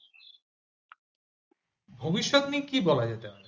ভবিষ্যৎ নিয়ে কি বলা যেতে পারে?